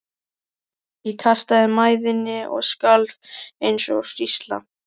Ég kastaði mæðinni og skalf eins og hrísla.